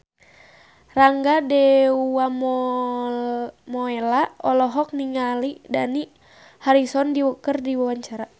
Rangga Dewamoela olohok ningali Dani Harrison keur diwawancara